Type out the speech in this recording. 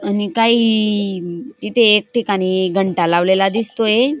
आणि काही ई इथे एक ठिकाणी घंटा लावलेला दिसतोय.